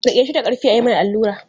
Riƙe shi da ƙarfi a yi mai allura!